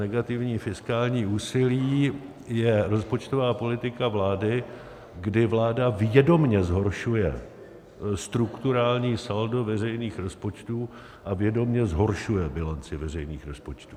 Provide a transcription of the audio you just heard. Negativní fiskální úsilí je rozpočtová politika vlády, kdy vláda vědomě zhoršuje strukturální saldo veřejných rozpočtů a vědomě zhoršuje bilanci veřejných rozpočtů.